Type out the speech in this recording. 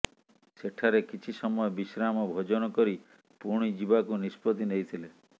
ସେଠାରେ କିଛି ସମୟ ବିଶ୍ରାମ ଓ ଭୋଜନ କରି ପୁଣି ଯିବାକୁ ନିଷ୍ପତି ନେଇଥିଲେ